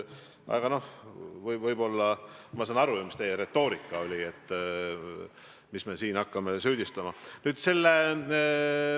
Aga noh, ma saan ju aru, mis teie retoorika oli, mis me siin hakkame üksteist süüdistama.